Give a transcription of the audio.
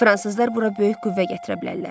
Fransızlar bura böyük qüvvə gətirə bilərlər.